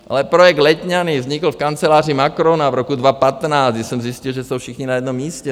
Ale projekt Letňany vznikl v kanceláři Macrona v roce 2015, kdy jsem zjistil, že jsou všichni na jednom místě.